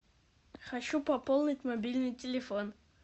хочу пополнить мобильный телефон